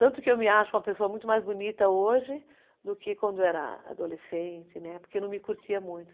Tanto que eu me acho uma pessoa muito mais bonita hoje do que quando era adolescente, né, porque não me curtia muito.